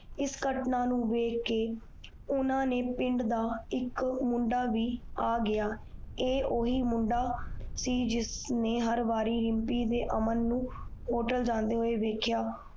ਇਸ ਕੱਟਣਾ ਨੂੰ ਦੇਖ ਕੇ ਊਨਾ ਦੇ ਪਿੰਡ ਦਾ ਇਕ ਮੁੰਡਾ ਬੀ ਆ ਆਗਯਾ ਏ ਓਹੀ ਮੁੰਡਾ ਸੀ ਜਿਸਨੇ ਰਿਮਪੀ ਤੇ ਅਮਨ ਹੋਟਲ ਜਾਂਦੇ ਦੇਖਿਆ